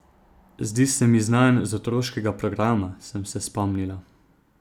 Zdi se mi znan z otroškega programa, sem se spomnila.